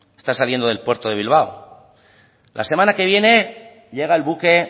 está saliendo del puerto de bilbao la semana que viene llega el buque